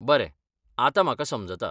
बरें, आतां म्हाका समजता.